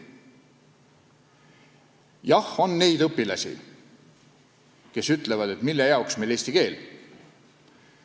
Jah, on neid õpilasi, kes ütlevad, et mille jaoks meile eesti keel.